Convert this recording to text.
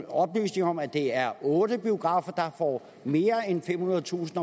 oplysninger om at det er otte biografer der får mere end femhundredetusind